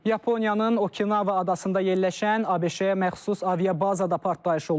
Yaponiyanın Okinawa adasında yerləşən ABŞ-yə məxsus aviabazada partlayış olub.